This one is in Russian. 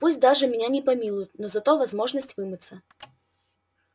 пусть даже меня не помилуют но зато возможность вымыться